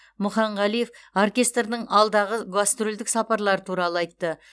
мұханғалиев оркестрдің алдағы гастрольдік сапарлары туралы айтты